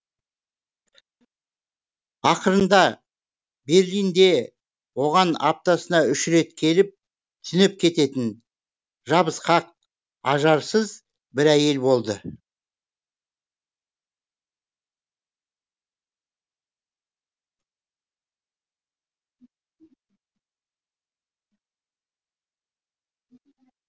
ақырында берлинде оған аптасына үш рет келіп түнеп кететін жабысқақ ажарсыз бір әйел болды